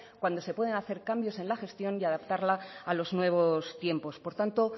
cuando se pueden hacer cambios en la gestión y adaptarla a los nuevos tiempos por tanto